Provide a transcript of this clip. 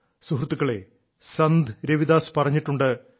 സുഹൃത്തുക്കളേ സന്ത് രവിദാസ് പറഞ്ഞിട്ടുണ്ട്